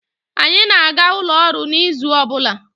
Anyị na-aga ụlọ ọrụ n'izu ọbụla.